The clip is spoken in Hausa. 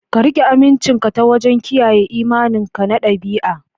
Ka riƙe amincinka ta wajen kiyaye imaninka na ɗabi'a.